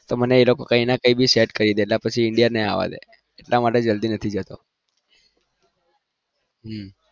તો મને એ લોકો કઈ ના કઈ set કરી દે પછી Indian ન આવા દે એટલા માટે જલ્દી નથી જતો હમ